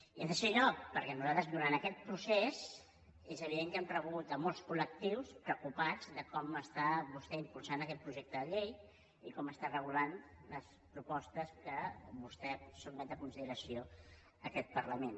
i en tercer lloc perquè nosaltres durant aquest procés és evident que hem rebut a molts col·lectius preocupats de com està vostè impulsant aquest projecte de llei i com està regulant les propostes que vostè sotmet a consideració en aquest parlament